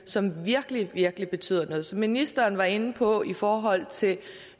som virkelig virkelig betyder noget ministeren var inde på det i forhold til